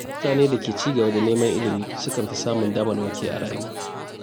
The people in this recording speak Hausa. Mutane da ke ci gaba da neman ilimi sukan fi samun damammaki a rayuwa.